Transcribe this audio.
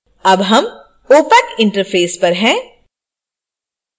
अब हम opac interface पर हैं